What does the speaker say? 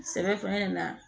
Sɛbɛ fana nana